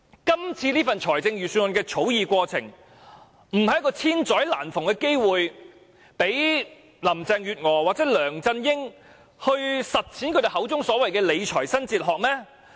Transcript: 今次這份財政預算案的草擬過程，不就是千載難逢的機會，讓林鄭月娥或梁振英實踐他們口中的"理財新哲學"嗎？